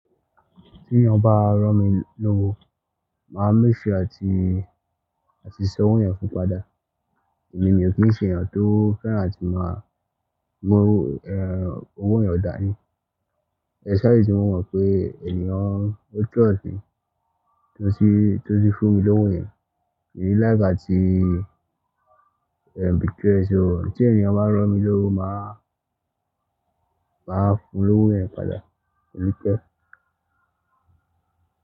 Tí ẹeyan bá rán mi lówó, mà á make sure àti, àti san owó yẹn fún padà. Èmi mi ò kí ń ṣe ènìyàn tó fẹ́ràn atí máa mú, ẹ́, owó ènìyàn dá ní. Especially tí mo mọ̀ pé ènìyàn ó trust mi, tó sì, tó sì fún mi lówó yẹn. Mí ni like átí, ẹ́, betray e so. Tí ènìyàn bá rán mi lówó, mà á, mà wá fun lówó yẹn padà. Kò ní pẹ́.